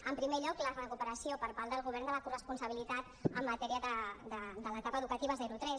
en primer lloc la recuperació per part del govern de la corresponsabilitat en matèria de l’etapa educativa zero tres